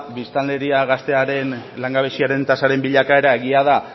biztanleria gaztearen langabeziaren tasaren bilakaera egia da